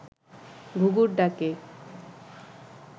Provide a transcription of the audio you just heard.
ঘুঘুর ডাকে